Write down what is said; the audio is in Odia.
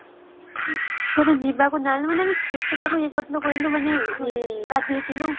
ଆମେ କେତେ ତାକୁ ଇଏ କରିଥିଲୁ କହିଲୁ ମାନେ ଗାଧେଇଥିଲୁ